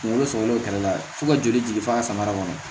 Kungolo sɔrɔ kɛlɛ la fo ka joli jigin fo ka samara kɔnɔ